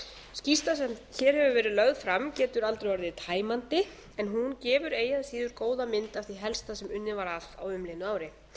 skýrslan sem hér hefur verið lögð fram getur aldrei orðið tæmandi en hún gefur eigi að síður góða mynd af því helsta sem unnið var að á umliðnu ári